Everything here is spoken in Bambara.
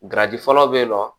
fɔlɔ bɛ yen nɔ